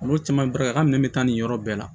Olu caman barika ka minɛ bɛ taa nin yɔrɔ bɛɛ la